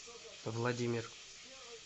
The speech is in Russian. владимир